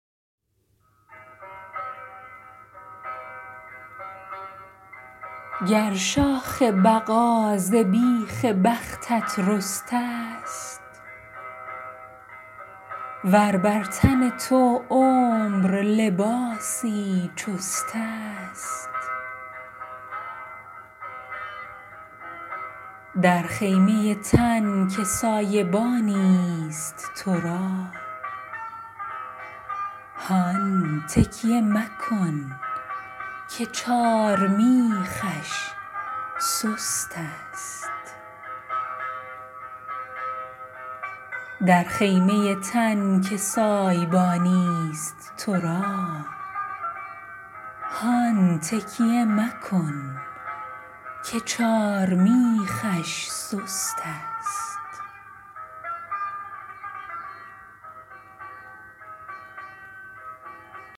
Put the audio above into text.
گر شاخ بقا ز بیخ بختت رسته ست ور بر تن تو عمر لباسی چست است در خیمه تن که سایبانی ست تو را هان تکیه مکن که چارمیخش سست است